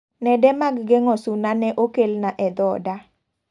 Nede mag geng'o suna ne okelna e dhoda.